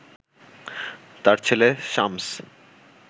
তার ছেলে শামস